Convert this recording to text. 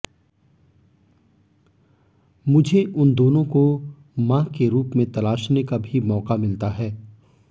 मुझे उन दोनों को मां के रूप में तलाशने का भी मौका मिलता है